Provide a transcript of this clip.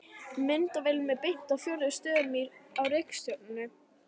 Myndavélunum er beint að fjórum stöðum á reikistjörnunni.